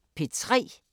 DR P3